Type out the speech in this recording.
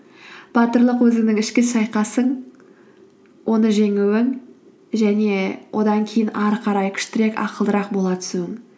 батырлық өзіңнің ішкі шайқасың оны жеңуің және одан кейін ары қарай күштірек ақылдырақ бола түсуің